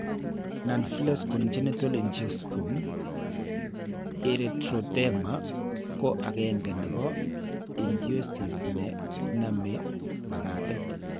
Nonbullous congenital ichthyosiform erythroderma ko agenge neebo ichthysosis ne naame makatet.